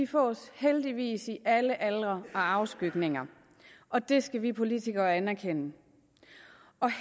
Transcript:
fås heldigvis i alle aldre og afskygninger og det skal vi politikere anerkende